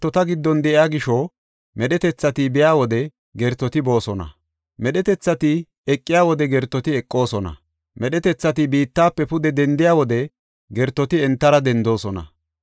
De7o Ayyaanay gertota giddon de7iya gisho, medhetethati biya wode gertoti boosona; medhetethati eqiya wode gertoti eqoosona; medhetethati biittafe pude dendiya wode gertoti entara dendoosona.